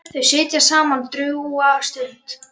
Þau sitja saman drjúga stund.